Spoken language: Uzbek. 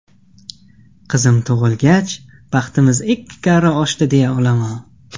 Qizim tug‘ilgach, baxtimiz ikki karra oshdi deya olaman.